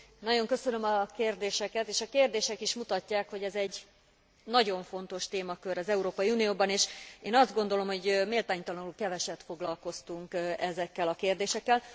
Nagyon köszönöm a kérdéseket, és a kérdések is mutatják, hogy ez egy nagyon fontos témakör az Európai Unióban, és én azt gondolom, hogy méltánytalanul keveset foglalkoztunk ezekkel a kérdésekkel.